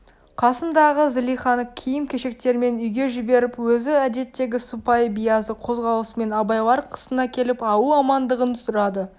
қасындағы злиханы киім-кешектермен үйге жіберп өзі әдеттегі сыпайы биязы қозғалысымен абайлар қасына келіп ауыл амандығын сұрады